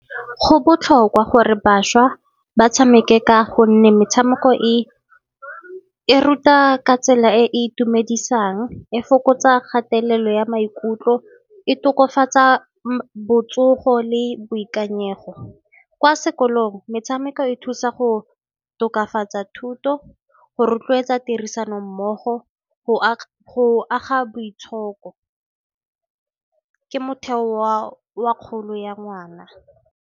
Go botlhokwa gore bašwa ba tshameke ka gonne metshameko e ruta ka tsela e e itumedisang, e fokotsa kgatelelo ya maikutlo, e tokafatsa botsogo le boikanyego. Kwa sekolong metshameko e thusa go tokafatsa thuto, go rotloetsa tirisano mmogo go aga boitshoko, ke motheo wa kgolo ya ngwana.